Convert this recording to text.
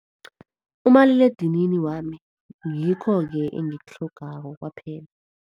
Umaliledinini wami, ngikho-ke engikutlhogako kwaphela.